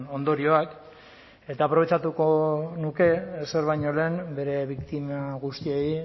ondorioak eta aprobetxatuko nuke ezer baino lehen bere biktima guztiei